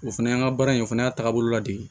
O fana y'an ka baara in fana y'a taabolo la de ye